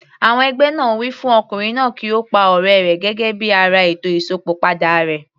Àwọn ẹgbẹ́ náà wí fún Ọkùnrin náà kí ó pa ọ̀rẹ́ rẹ̀ gẹ́gẹ́ bí ara ètò Ìsópọ̀ padà rẹ̀.